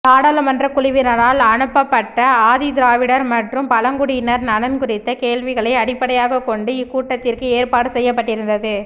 நாடாளுமன்ற குழுவினரால் அனுப்பப்பட்ட ஆதிதிராவிடர் மற்றும் பழங்குடியினர் நலன் குறித்த கேள்விகளை அடிப்படையாக கொண்டு இக்கூட்டத்திற்கு ஏற்பாடு செய்யப்பட்டிருந்தது